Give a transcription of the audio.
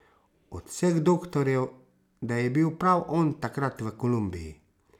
Od vseh doktorjev da je bil prav on takrat v Kolumbiji ...